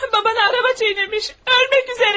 Babanı araba çiğnəmiş, ölmək üzərədir.